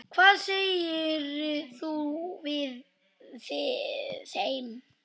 Hvað segir þú við þeim?